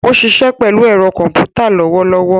O siṣẹ pelu ero komputa lowolowo